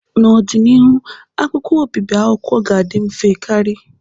N'ọdịnihu, akwụkwọ obibi akwụkwọ ga-adị mfe karị.